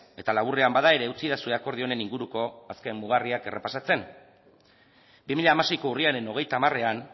eta laburrean bada ere utzidazue akordio honen inguruko azken mugarriak errepasatzen bi mila hamaseiko urriaren hogeita hamarean